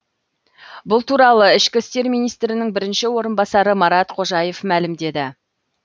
бұл туралы ішкі істер министрінің бірінші орынбасары марат қожаев мәлімдеді